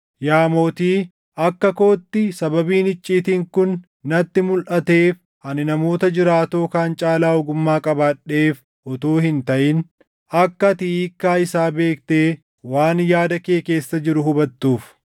Yaa mootii, akka kootti sababiin icciitiin kun natti mulʼateef ani namoota jiraatoo kaan caalaa ogummaa qabaadheef utuu hin taʼin, akka ati hiikkaa isaa beektee waan yaada kee keessa jiru hubattuuf.